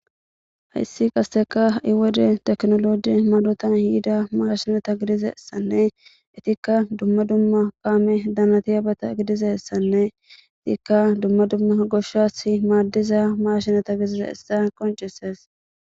hayssi qaseka iwode teknoloji malotan hiida maashinata gidizeessanne itikka dumma dumma paame danati abata gidizessanne itikka dumma dumma goshshas maaddiza maashinata gidize issa qoncises